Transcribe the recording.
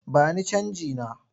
Ba ni canjina!